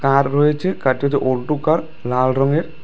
আর রয়েছে লাল রঙের।